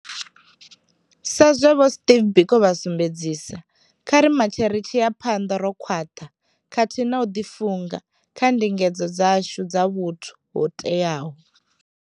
Sazwe vho Steve Biko vha sumbedzisa, kha ri matshe ri tshi ya phanḓa ro khwaṱha khathihi na u ḓifunga kha ndingedzo dzashu dza vhuthu ho teaho.